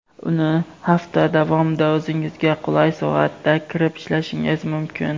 uni hafta davomida o‘zingizga qulay soatda kirib ishlashingiz mumkin.